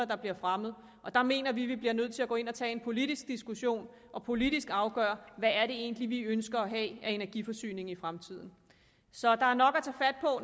der bliver fremmet og der mener vi at vi bliver nødt til at gå ind og tage en politisk diskussion og politisk afgøre hvad det egentlig er vi ønsker at have af energiforsyning i fremtiden så der er nok